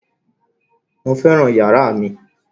Mo fẹ́ràn yàrá mi